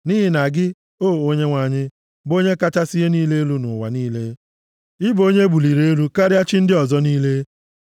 Nʼihi na gị, O Onyenwe anyị, bụ Onye kachasị ihe niile elu nʼụwa niile; ị bụ onye e buliri elu karịa chi ndị ọzọ niile.